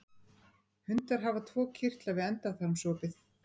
Hundar hafa tvo kirtla við endaþarmsopið.